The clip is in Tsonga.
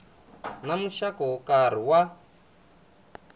na muxaka wo karhi wa